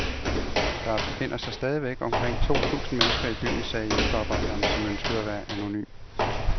Der befinder sig stadig omkring to tusind mennesker i byen, sagde hjælpearbejderen, som ønskede at være anonym.